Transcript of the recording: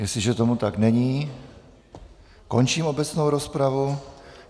Jestliže tomu tak není, končím obecnou rozpravu.